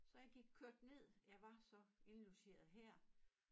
Så jeg gik kørte ned jeg var så indlogeret her